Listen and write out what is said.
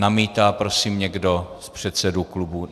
Namítá prosím někdo z předsedů klubů?